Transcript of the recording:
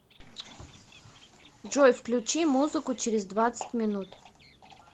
джой включи музыку через двадцать минут